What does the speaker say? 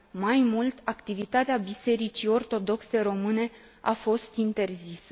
mai mult, activitatea bisericii ortodoxe române a fost interzisă.